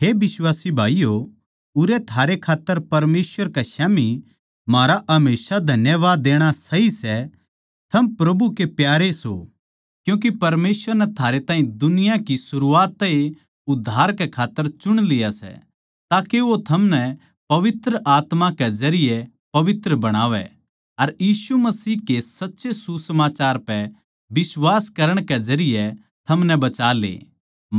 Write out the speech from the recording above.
हे बिश्वासी भाईयो उरै थारे खात्तर परमेसवर कै स्याम्ही म्हारा हमेशा धन्यवाद देणा सही सै थम प्रभु के प्यारे सों क्यूँके परमेसवर नै थारे ताहीं दुनिया की सरूआत तै ए उद्धार कै खात्तर चुन लिया सै ताके वो थमनै पवित्र आत्मा के काम के जरिये पवित्र बणावै अर यीशु मसीह के सच्चे सुसमाचार पै बिश्वास करण के जरिये थमनै बचाले